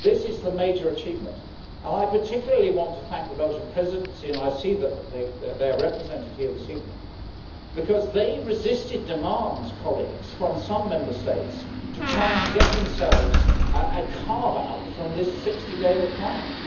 This is the major achievement, and I particularly want to thank the Belgian Presidency and I see that they are represented here this evening because they resisted demands from some Member States to try and get themselves a carve out from this 60 day requirement.